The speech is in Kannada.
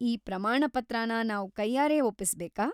ಈ ಪ್ರಮಾಣ ಪತ್ರನ ನಾವ್‌ ಕೈಯಾರೆ ಒಪ್ಪಿಸ್ಬೇಕಾ?